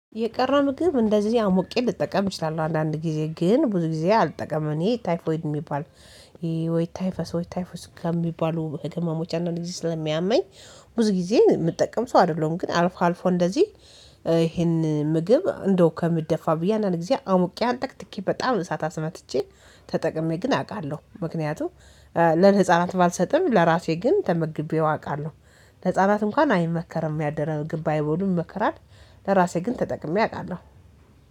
የቀረ ምግብ እንደዚህ አሞቄ ልጠቀም እችላለሁ አንዳንድ ጊዜ ግን ብዙ ጊዜ አልጠቀመም። እኔ ታይፎይድ የሚባል ወይ ታይፈስ ወይ ታይፈስ ከሚባሉ ህክማሞች አንዳንድ ጊዜ ስለሚያመኝ ብዙ ጊዜ የምጠቀም ሰው አይደለሁም። ግን አልፎ አልፎ እንደዚህ ይሄን ምግብ እንደው ከምደፋ ብዬ አንዳንድ ጊዜ አሙቄ አንጠቅጥቄ በጣም እሳት አስመትቼ ተጠቅሜ ግን አውቃለሁ። ምክንያቱም ለህፃናት ባልሰጥም ለራሴ ግን ተመግቤው አውቃለሁ። ህፃናት እንኳን አይመከርም ያደረ ምግብ ባይቦሉ ይመከራል። ለራሴ ግን ተጠቅሜ አውቃለሁ።